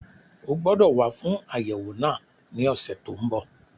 O gbọdọ̀ wá fún àyẹ̀wò náà ní ọ̀sẹ̀ tó n bọ̀